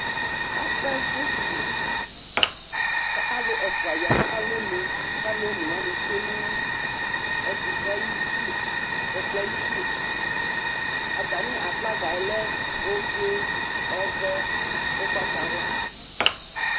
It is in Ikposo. Akavu tʋ alʋ ɛfʋa ya nʋ alɔnu kʋ alʋ one tsue nʋ ɛkʋtɛ yɛ ayidu, ɛkplɔ yɛ ayidu Atamɩ aflaga yɛ lɛ ofue, ɔvɛ, ʋgbatawla